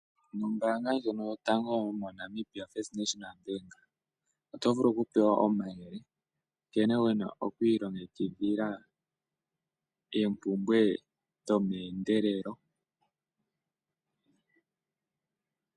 Ombaanga yotango yopashigwana ohayi gandja omayele nkene wu na oku ilongekidhila oompumbwe dhomeendelelo.